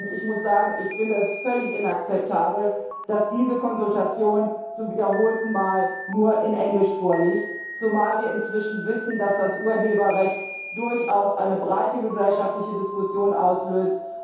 Ich finde es völlig inakzeptabel, dass diese Konsultation zum wiederholten Mal nur auf Englisch vorliegt, zumal wir inzwischen wissen, dass das Urheberrecht durchaus eine breite gesellschaftliche Diskussion auslöst.